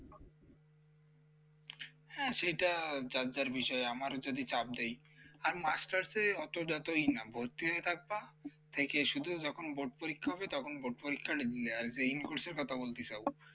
হ্যাঁ সেইটা যার যার বিষয় আমারও চাপ দেয় আর masters অত যত ই না ভর্তি হয়ে থাকবা থেকে শুধু যখন board পরীক্ষা হবে তখন board পরীক্ষাটা দিলে আর যে in course এর কথা বলতে চাও